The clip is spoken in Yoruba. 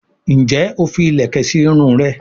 njé o fí ilẹkẹ sí Irun rẹ?